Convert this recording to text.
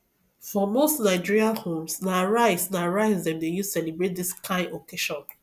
for most nigerian homes na rice na rice dem dey use celebrate this kind of occasion